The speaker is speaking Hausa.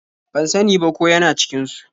Ban sa ni ba ko ya na cikin su.